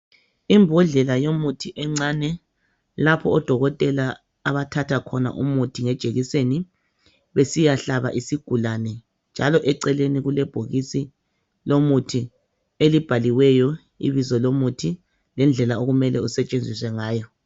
Imbodlela yomuthi encane lapho odokotela abathathakhona umuthi ngejekiseni besiyahlaba isigulane njalo eceleni kulebhokisi lomuthi elibhaliweyo ibizo lomuthi lendlela okumele isetshenziswe ngayo.